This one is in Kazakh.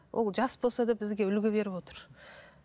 ол жас болса да бізге үлгі беріп отыр